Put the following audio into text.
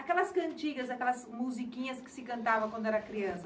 Aquelas cantigas, aquelas musiquinhas que se cantava quando era criança.